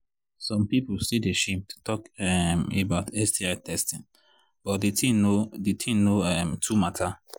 some people still they shame to talk um about sti testing but the thing no the thing no um too matter